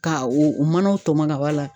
Ka o manaw tɔmɔ ka bɔ a la.